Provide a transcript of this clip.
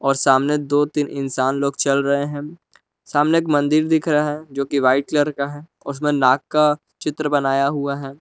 सामने दो तीन इंसान लोग चल रहे हैं सामने एक मंदिर दिख रहा है जो कि व्हाइट कलर का है और उसमें नाग का चित्र बनाया हुआ है।